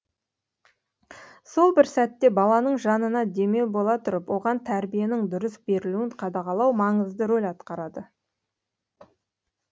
сол бір сәтте баланың жанына демеу бола тұрып оған тәрбиенің дұрыс берілуін қадағалау маңызды рөл атқарады